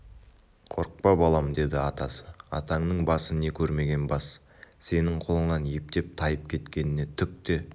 қорықпа балам деді атасы атаңның басы не көрмеген бас сенің қолыңның ептеп тайып кеткеніне түк те